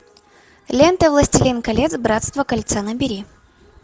лента властелин колец братство кольца набери